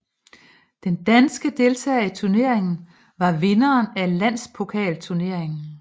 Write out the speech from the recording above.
Den danske deltager i turneringen var vinderen af Landspokalturneringen